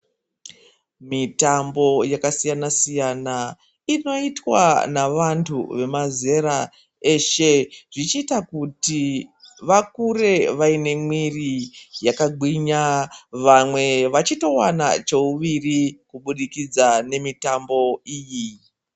Mitambo yakasiyana siyana inoitwa navantu vemazera eshe zvichiita kuti vakure vaine mwiri yakagwinya vamwe vachitowana cheuwiri kuburikidza nemitambo iyi.